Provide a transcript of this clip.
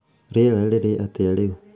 rĩera rĩrĩ atĩa rĩu